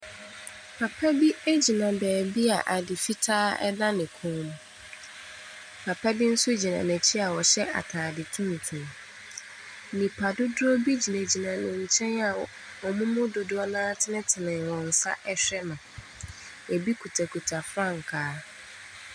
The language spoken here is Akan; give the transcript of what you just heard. Papa bi gyina beebi a ade fitaa da ne kɔn mu, papa bi nso gyina n’akyi a ɔhyɛ ataade tuntum. Nnipa dodoɔ gyina ne nkyɛn a wɔn mu dodoɔ no ara atenetene wɔn nsa ɛrehwɛ no. bi kitakita mfrankaa.